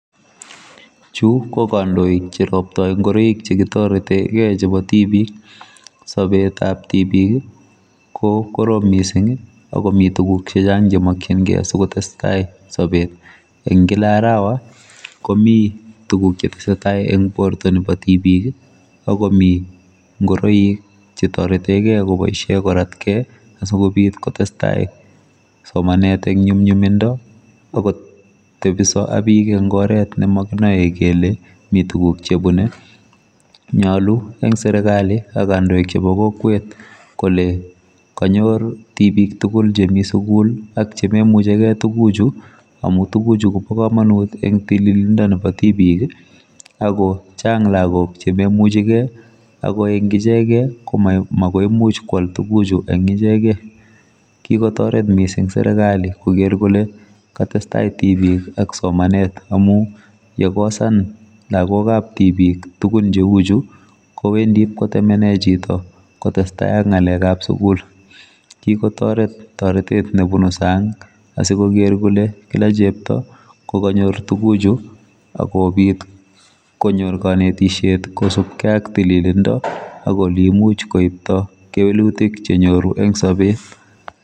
Chu kokandoik cheroptoi ingoroik chekitorete gei chebo tibik sobetab tibik ko korom mising akomi tuguk chechang chemakyingei sikotestai sobet eng kila arawa komi tuguk chetesetai eng borto nebo tibik akomi ngoroik chetortegei koratkei asikobit kotestai somanet eng nyumnyumindo akotebiso ak bik eng oret nemakinoe kele mi tuguk chebune nyalu eng serikali ak kandoik chebo kokwet kole kanyor tibik tugul chemi sugul ak chememuchi gei tuguchu amu tuguchu kobakamanut eng tililindo nebo tibik akochang lagok chememuchigei akoeng ichegei komaimuch koal tuguchu eng ichegei kikotoret mising serikali koker kole katestai tibik ak somanet amu yakakosan lagokab tibik tugun cheuchu kowendi ipkotemene chito kotestai ak ngalekab sukul kikotoret toretet nebunu sang asikoker kole kila chepto kokanyor tuguchu akobit konyor kanetisiet kosupkei ak tililindo ako ole imuch koipto kewelutik chenyoru eng sobet